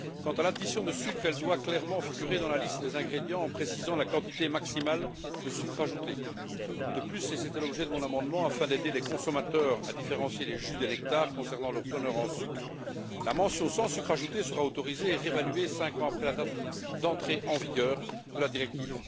Quant à l'addition de sucre, elle doit clairement figurer dans la liste des ingrédients en précisant la quantité maximale de sucre ajouté. De plus et c'était l'objet de mon amendement afin d'aider les consommateurs à différencier les jus des nectars concernant leur teneur en sucre, la mention sans sucre ajouté sera autorisée et réévaluée cinq ans après la date d'entrée en vigueur de la directive.